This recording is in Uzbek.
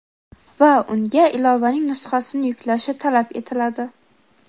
va unga ilovaning nusxasini yuklashi talab etiladi:.